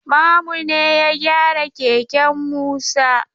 Mamu ne ya gyara keken Musa.